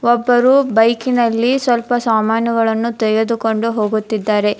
ಒಬ್ಬರು ಬೈಕಿ ನಲ್ಲಿ ಸ್ವಲ್ಪ ಸಾಮಾನುಗಳನ್ನು ತೆಗೆದುಕೊಂಡು ಹೋಗುತ್ತಿದ್ದಾರೆ.